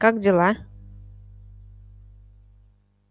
как дела